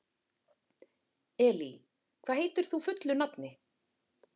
Elí, hvað heitir þú fullu nafni?